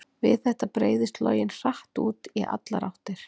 Við þetta breiðist loginn hratt út í allar áttir.